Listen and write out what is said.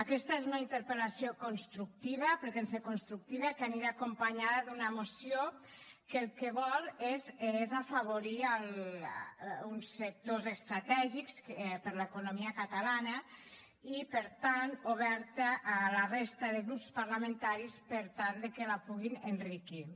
aquesta és una interpel·lació constructiva pretén ser constructiva que anirà acompanyada d’una moció que el que vol és afavorir uns sectors estratègics per a l’economia catalana i per tant oberta a la resta de grups parlamentaris per tal que la puguin enriquir